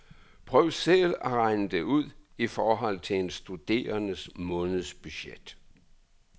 Prøv selv at regne det ud i forhold til en studerendes månedsbudget.